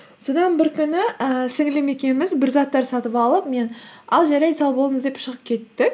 содан бір күні ііі сіңілілім екеуміз бір заттарды сатып алып мен ал жарайды сау болыңыз деп шығып кеттік